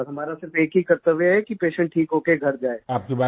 और हमारा सिर्फ एक ही कर्त्तव्य है कि पेशेंट ठीक होकर घर जाए